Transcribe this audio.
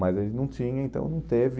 Mas a gente não tinha, então não teve.